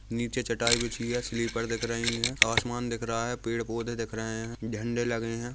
नीचे चटाई बिछी है स्लीपर दिख रहे है असमान दिख रहा है पेड़ पौधे दिख रहे है झंडे लगे है।